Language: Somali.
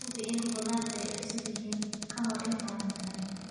Hubi in khudaartu ay cusub yihiin ka hor intaadan karinin.